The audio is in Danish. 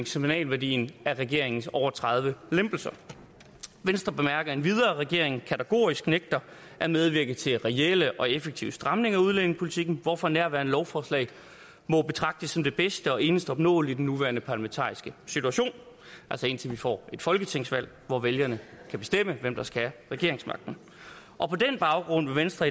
signalværdien af regeringens over tredive lempelser venstre bemærker endvidere at regeringen kategorisk nægter at medvirke til reelle og effektive stramninger af udlændingepolitikken hvorfor nærværende lovforslag må betragtes som det bedste og eneste opnåelige i den nuværende parlamentariske situation altså indtil vi får et folketingsvalg hvor vælgerne kan bestemme hvem der skal have regeringsmagten og på den baggrund vil venstre